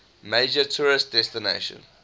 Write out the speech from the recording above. major tourist destination